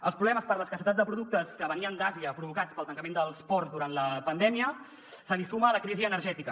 als problemes per l’escassetat de productes que venien d’àsia provocats pel tancament dels ports durant la pandèmia se li suma la crisi energètica